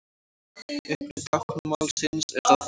Uppruni táknmálsins er ráðgáta.